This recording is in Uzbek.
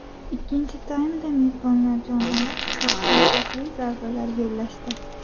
Ikkinchi taymda mezbonlar jonlanib, uzoqdan xavfli zarbalar yo‘llashdi.